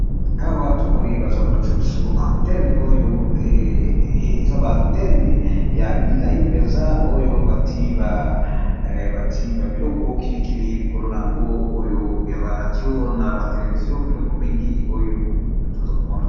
Awa tomoni baza kolakisa biso antene oyo eza ba antene ya milayi mpenza oyo bati ba biloko kilikili likolo na yango oyo ya ba radio na batelevizio biloko mingi oyo toza komona